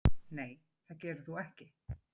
Nei það gerir þú ekki.